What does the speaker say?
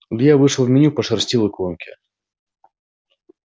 илья вышел в меню пошерстил иконки